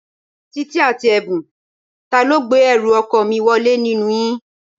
Títí àti Ẹ̀bùn, ta ló gbé ẹrù ọkọ mi wọlé nínú yín?